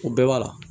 O bɛɛ b'a la